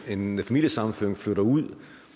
en familiesammenføring flytter ud